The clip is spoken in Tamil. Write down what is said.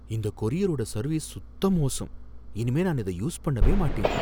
இந்த கொரியரோட சர்வீஸ் சுத்த மோசம், இனிமே நான் இத யூஸ் பண்ணவே மாட்டேன்